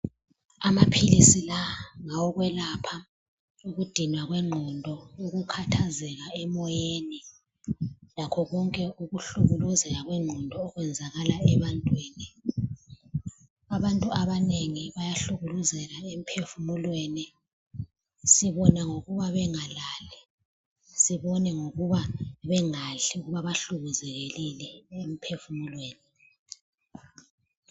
Amaphilisi la ngawokwelapha ukudinwa kwengqondo ukhathazeka emoyeni lakho konke okuhlukumeza ingqondo okwenzakala ebantwini. Abantu abanengi bayahlukuluzeka emphefumulweni sibona ngokuba bengalali sibone ngokuba bengadli abahlukumezekileyo emphefumulweni.